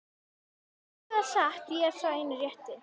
Ég segi það satt, ég er sá eini rétti.